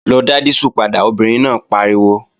Lọ dá dísù padà, obìnrin náà pariwo!